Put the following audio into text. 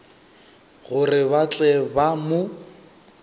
gore ba tle ba mo